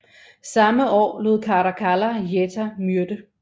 Samme år lod Caracalla Geta myrde